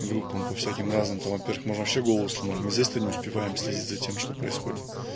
группам по всяким разным темам можно все голоса можно здесь ты не успеваем следить за тем что происходит